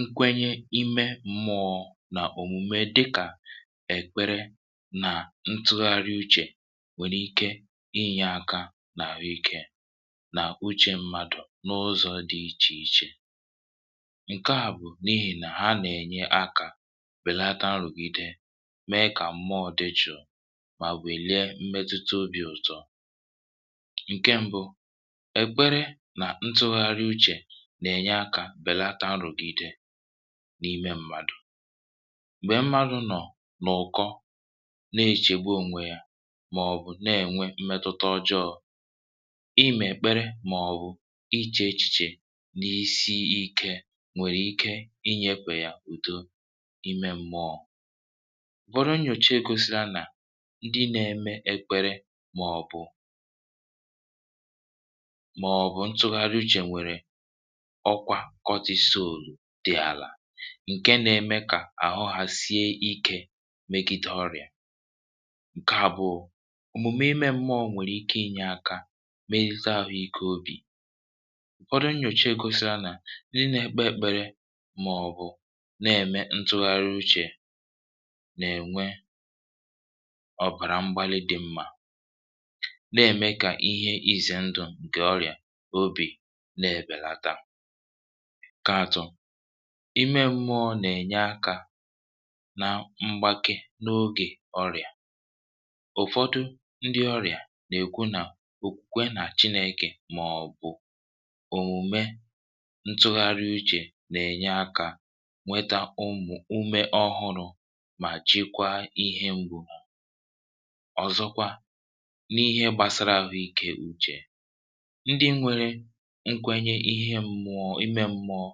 Nkwenye imė mmụọ̇ nà òmùme dịkà èkpere nà ntụgharị uchè nwèrè ike inyė aka nà àhụikė nà uchè mmadụ̀ n’ụzọ̇ dị ichè ichè. Ọ̀kè à bụ̀ n’ihì nà ha nà-ènye akȧ wèlata nrụ̀gide, mee kà mmụọ̇ dị jụ̀ụ̀, mà wèlie mmetuta obì ụ̀tọ. Ọ̀kè mbụ, ekpere na ntụgharị uche, nà-ènye akȧ belata nrụ̀gide n’ime ṁmȧdụ̀. Nwèe mmadụ̀ nọ̀ nà ụ̀kọ na-echègbu ònwè yȧ màọ̀bụ̀ na-ènwe mmetụta ọjọọ̇, ịmà èkpere màọ̀bụ̀ ichė ichèchè n’isi ikė nwèrè ike inyėkwè yà ùdo ime m̀mọọ̇. Bụrụ nnyòche gosiri anà ịdị̇ na-eme ekpere màọ̀bụ̀ màọ̀bụ̀ ntụgharị uche nwere ọkwa kọtịsọolu dị̇ àlà, ǹke nȧ-ėmė kà àhụ hà sie ikė megide ọrị̀à. Ọ̀kè àbụụ̀ òmùmè ime mmuọ nwèrè ike inyė aka megide ahụ̇ ike obì. Ufọdụ Nnyòchee gosa nà n’ime ekpe ekpere màọ̀bụ̀ na-ème ntụgharị uchè nà-ènwekwe ọ̀bàrà mgbalị dị mmȧ na-ème kà ihe izè ndụ̀ ǹkè ọrị̀à nke obì na ebelata. Nke atọ. Ime mmụọ nà-ènye akȧ na mgbake n’ogè ọrị̀à. Ufọdụ ndị ọrị̀à nà-èkwu nà okwukwe nà chineke màọ̀bụ̀ òmùme ntụgharị uchè nà-ènye akȧ nweta ụmụ̀ ume ọhụrụ̇ mà jịkwa ihe mbụ̇. Ọ̀zọkwa n’ihe gbàsara àhụikė uchè. Ndị nwere nkwenye ihe mmụọ ime mmụọ,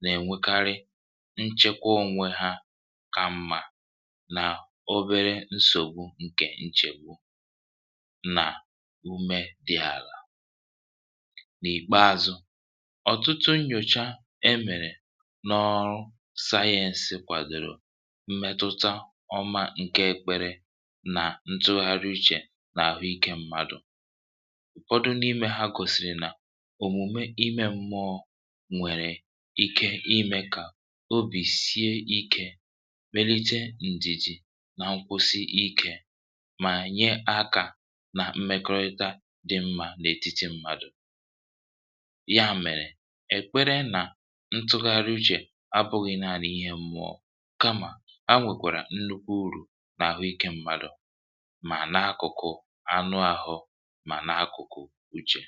nà-ènwèkarị nchekwa ònwè ha kà mmà nà obere nsògbu ǹkè nchègbu nà ume dị̇ àlà. N’ìkpeȧzụ̇, ọ̀tụtụ nnyòcha e mèrè n’ọụwayensị kwàdòrò mmetụta ọma ǹke ekpere nà ntụgharị uchè nà àhụikė mmadụ̀. Ụfọdụ n'ime ha gosiri na omume ime mmuo nwèrè ike imė kà obì sie ikė, melite ǹdìjì nà nkwụsị ikė, mà nye akȧ nà mmekọrịta dị mmȧ n’etiti mmadụ̀. Ya mèrè, èkpere nà ntụgharị uchè abụghị̇ na-alị ihe mmụọ kamà a nwèkwàrà nnukwu urù n’àhụ ikė mmadụ̀, mà n’akụ̀kụ̀ anụ ȧhụ̇ mà n’akụ̀kụ̀ uchè.